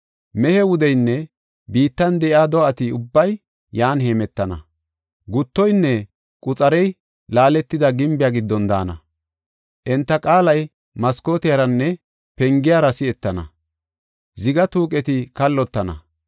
Mehe wudeynne biittan de7iya do7ati ubbay yan hemetana; guttoynne quxarey laaletida gimbiya giddon daana. Enta qaalay maskooteranne pengiyara si7etana; ziga tuuqeti kallotana.